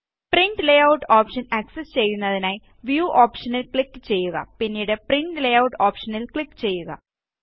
print layout option access ചെയ്യുന്നതിനായി view ഓപ്ഷനില് click ചെയ്യുക പിന്നീട് പ്രിന്റ് ലേയൂട്ട് ഓപ്ഷനില് ക്ലിക് ചെയ്യുക